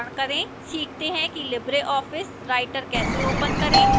सीखते हैं कि libreoffice writer कैसे open करें